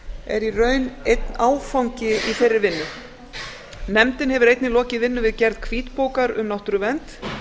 er í raun einn áfangi í þeirri vinnu nefndin hefur einnig lokið vinnu við gerð hvítbókar um náttúruvernd